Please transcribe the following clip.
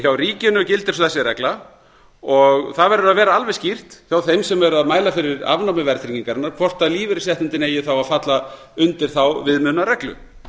hjá ríkinu gildir þessi regla það verður að vera alveg skýrt hjá þeim sem eru að mæla fyrir afnámi verðtryggingarinnar hvort lífeyrisréttindin eigi að falla undir þá viðmiðunarreglu